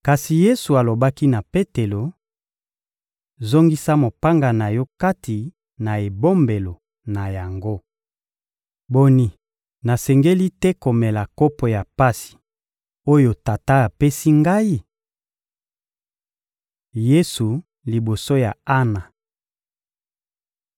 Kasi Yesu alobaki na Petelo: — Zongisa mopanga na yo kati na ebombelo na yango. Boni, nasengeli te komela kopo ya pasi, oyo Tata apesi Ngai? Yesu liboso ya Ana (Mat 26.57-58; Mlk 14.53-54; Lk 22.54)